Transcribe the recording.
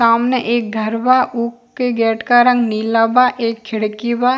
सामने एक घर बा ऊ के गेट का रंग नीला बा एक खिड़की बा।